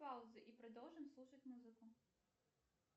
пауза и продолжим слушать музыку